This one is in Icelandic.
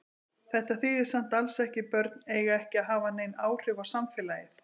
Þetta þýðir samt alls ekki börn eiga ekki að hafa nein áhrif á samfélagið.